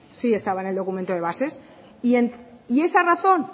sí estaba en el documento de bases y esa razón